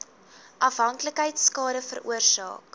afhanklikheid skade veroorsaak